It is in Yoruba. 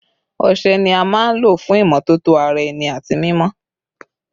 Ọṣẹ ni a maa n lo fun imọtoto ara ẹni ati mimọ